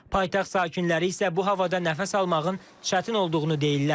Paytaxt sakinləri isə bu havada nəfəs almağın çətin olduğunu deyirlər.